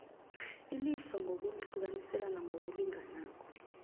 ilifa ngokulihlukaniselana ngokulinganako